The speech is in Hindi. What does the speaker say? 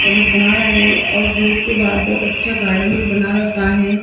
और कुछ बना रहे और गेट के बाहर बहुत अच्छा गार्डन भी बना रखा है।